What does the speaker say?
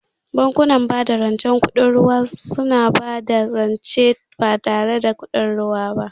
Bankunan bada rance mara kudin ruwa suna ba da rance ba tare da kuɗin ruwa ba.